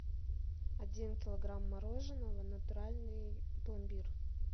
один килограмм мороженого натуральный пломбир